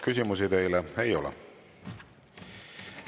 Küsimusi teile ei ole.